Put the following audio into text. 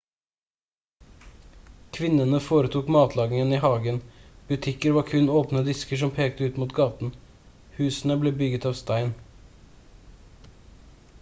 kvinnene foretok matlagingen i hagen butikker var kun åpne disker som pekte ut mot gaten husene ble bygd av stein